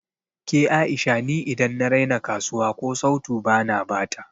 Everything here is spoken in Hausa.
Ke A'isha ni idan na raina kasuwa ko sautu bana bata